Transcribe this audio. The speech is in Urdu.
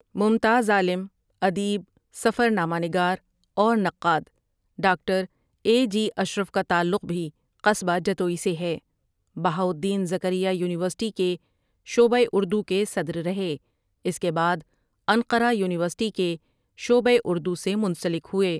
ممتاز عالم، ادیب، سفر نامہ نگار اور نقاد ڈاکٹر اے جی اشرف کا تعلق بھی قصبہ جتوئی سے ہے بہاؤ الدین زکریا یونیورسٹی کے شعبہ اُردو کے صدر رہے اس کے بعد انقرہ یونیورسٹی کے شعبہ اردو سے منسلک ہوئے ۔